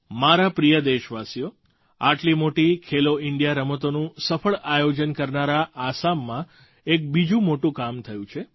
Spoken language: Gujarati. મારા પ્રિય દેશવાસીઓ આટલી મોટી ખેલો ઇન્ડિયા રમતોનું સફળ આયોજન કરનારા આસામમાં એક બીજું મોટું કામ થયું છે